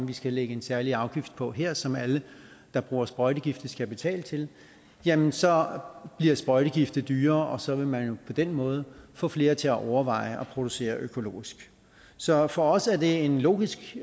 de skal lægge en særlig afgift på her som alle der bruger sprøjtegifte skal betale til jamen så bliver sprøjtegifte dyrere og så vil man jo på den måde få flere til at overveje at producere økologisk så for os er det en logisk